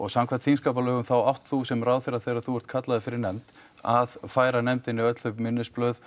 samkvæmt þingskapalögum þá átt þú sem ráðherra þegar þú ert kallaður fyrir nefnd að færa nefndinni öll þau minnisblöð